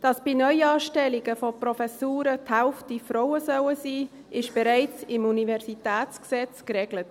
Dass bei Neuanstellungen von Professuren die Hälfte Frauen sein sollen, ist bereits im UniG geregelt.